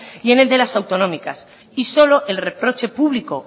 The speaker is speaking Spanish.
y en el de las autonómicas y solo el reproche público